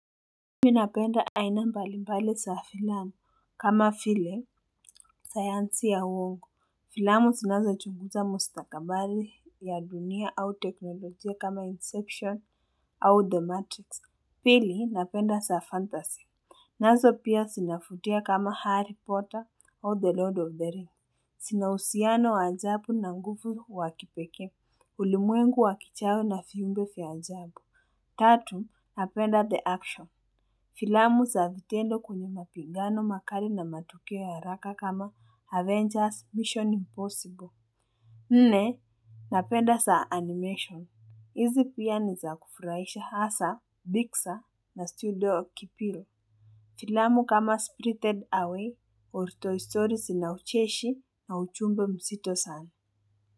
Minapenda aina mbali mbali za filamu kama vile sayansi ya uongu filamu zinazo chunguza mustakabali ya dunia au teknolojia kama inception au the matrix. Pili napenda za fantasy. Nazo pia zinafuvutia kama harry potter au the lord of the ring zinauhusiano waajabu na nguvu wakipeke ulimwengu wakichawe na viumbe viajabu. Tatu napenda the action. Filamu za vitendo kuni mapigano makali na matuio ya haraka kama Avengers Mission Impossible. Nne, napenda za animation. Izi pia ni za kufurahisha haswa, biksa na studio kipiro. Filamu kama Spritted Away or Toy Stories zina ucheshi na ujumbe mzito sana.